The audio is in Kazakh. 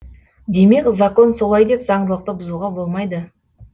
демек закон солай деп заңдылықты бұзуға болмайды